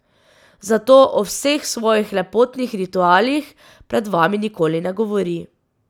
Zato o vseh svojih lepotnih ritualih pred vami nikoli ne govori.